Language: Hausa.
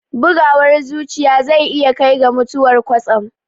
Bugawar zuciya zai iya kai ga mutuwar kwatsam